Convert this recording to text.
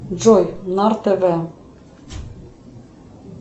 джой нар тв